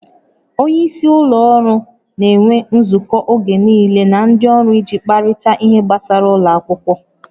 Onye isi ụlọ ọrụ na-enwe nzukọ oge niile na ndị ọrụ iji kparịta ihe gbasara ụlọ akwụkwọ